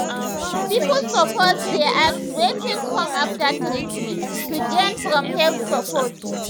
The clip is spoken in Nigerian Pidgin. people suppose dey ask wetin come after treatment to gain from health support.